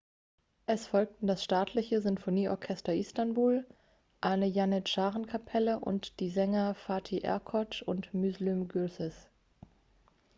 es folgten das staatliche sinfonieorchester istanbul eine janitscharenkapelle und die sänger fatih erkoç und müslüm gürses